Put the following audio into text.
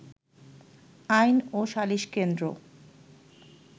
আইন ও সালিশ কেন্দ্র